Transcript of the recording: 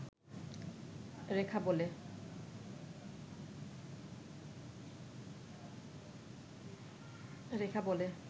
রেখা বলে